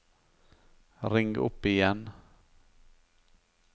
ring opp igjen